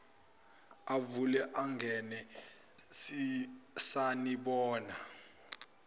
avule angene sanibona